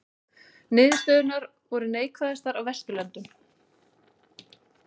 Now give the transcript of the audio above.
Niðurstöðurnar voru neikvæðastar á Vesturlöndum